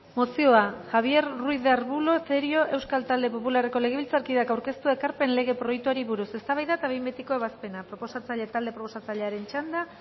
mozioa javier ruiz de arbulo cerio euskal talde popularreko legebiltzarkideak aurkeztua ekarpenen lege proiektuari buruz eztabaida eta behin betiko ebazpena talde proposatzailearen txanda